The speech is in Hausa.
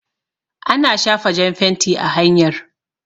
Ana shafa jan fenti a hanyar